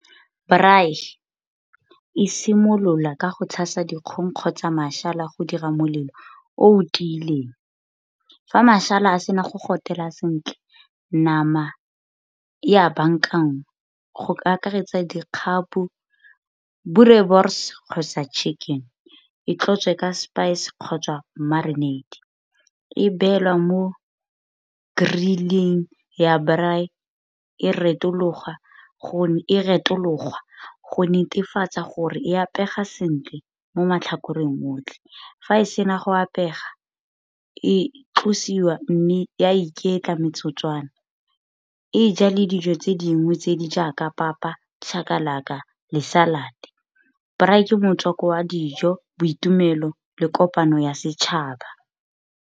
Braai e simolola ka go tshasa dikgong kgotsa go dira molelo o o tiileng. Fa a sena go gotela sentle nama ya bankangwa go ka akaretsa dikgapo, boerewors kgosa chicken, e tlotse ka spice kgotsa marinate. E beelwa mo grill-ing ya braai e retologwa go netefatsa gore e apewa sentle mo matlhakoreng otlhe. Fa e sena go apeya e tlosiwa mme a iketla metsotswana e ja le dijo tse dingwe tse di jaaka papa, chakalaka le salad. Braai ke motswako wa dijo, boitumelo le kopano ya setšhaba.